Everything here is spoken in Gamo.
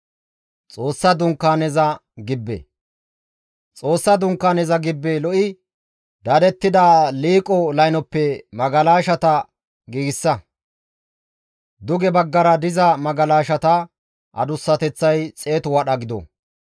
«Xoossa Dunkaaneza gibbe lo7i dadettida liiqo laynoppe magalashata giigsa. Duge baggara diza magalashata adussateththay xeetu wadha gido.